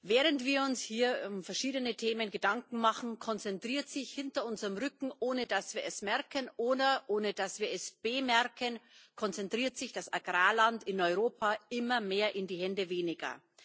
Während wir uns hier um verschiedene Themen Gedanken machen, konzentriert sich hinter unserem Rücken ohne dass wir es merken oder ohne dass wir es bemerken das Agrarland in Europa immer mehr in die Hände weniger.